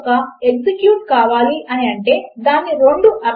user username మరియు password లను enter చేసారో లేదో మనము చెక్ చేయాలి